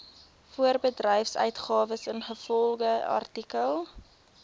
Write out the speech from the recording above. voorbedryfsuitgawes ingevolge artikel